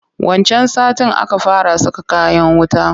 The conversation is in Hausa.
Wancan satin aka fara saka kayan wata